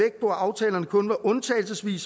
ville